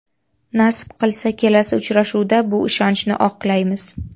Nasib qilsa, kelasi uchrashuvda bu ishonchni oqlaymiz.